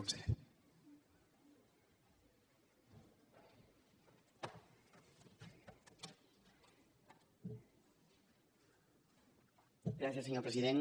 gràcies senyor president